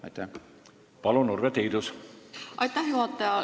Aitäh, juhataja!